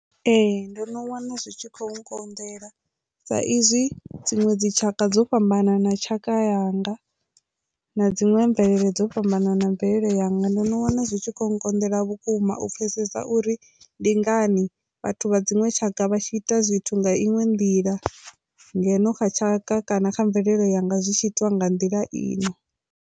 Ee, ndo no wana zwi tshi khou nkonḓela sa izwi dziṅwe dzi tshaka dzo fhambananaho tshaka yanga na dziṅwe mvelele dzo fhambananaho mvelele yanga ndo no wana zwi tshi konḓela vhukuma u pfesesa uri ndi ngani vhathu vha dziṅwe tshaka vha tshi ita zwithu nga inwe nḓila ngeno kha tshaka kana kha mvelelo yanga zwi tshi itiwa nga nḓila ine.